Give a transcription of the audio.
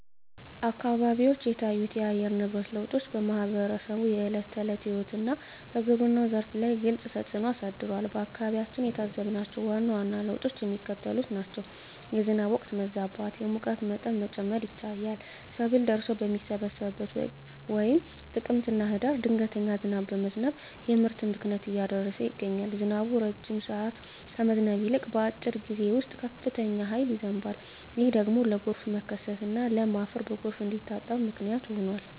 አካባቢዎች የታዩት የአየር ንብረት ለውጦች በማኅበረሰቡ የዕለት ተዕለት ሕይወትና በግብርናው ዘርፍ ላይ ግልጽ ተፅእኖ አሳድረዋል። በአካባቢያችን የታዘብናቸው ዋና ዋና ለውጦች የሚከተሉት ናቸው፦ የዝናብ ወቅት መዛባት፣ የሙቀት መጠን መጨመር ይታያል። ሰብል ደርሶ በሚሰበሰብበት ወቅት (ጥቅምትና ህዳር) ድንገተኛ ዝናብ በመዝነብ የምርት ብክነትን እያደረሰ ይገኛል። ዝናቡ ረጅም ሰዓት ከመዝነብ ይልቅ፣ በአጭር ጊዜ ውስጥ በከፍተኛ ኃይል ይዘንባል። ይህ ደግሞ ለጎርፍ መከሰትና ለም አፈር በጎርፍ እንዲታጠብ ምክንያት ሆኗል።